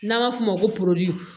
N'an b'a f'o ma ko